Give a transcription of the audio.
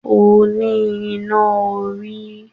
O ní iná orí